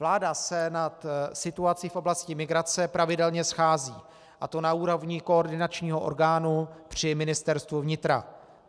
Vláda se nad situací v oblasti migrace pravidelně schází, a to na úrovni koordinačního orgánu při Ministerstvu vnitra.